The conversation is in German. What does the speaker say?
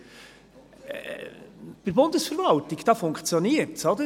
In der Bundesverwaltung, da funktioniert es.